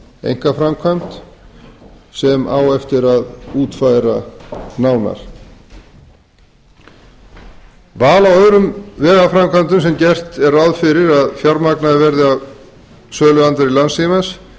einkaframkvæmd sem á eftir að útfæra nánar val á öðrum vegaframkvæmdum sem gert er ráð fyrir að fjármagnaðar verði af söluandvirði landssímans